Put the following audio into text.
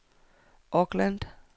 Auckland